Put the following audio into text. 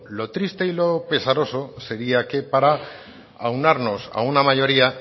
lo triste y pesaroso sería que para aunarnos a una mayoría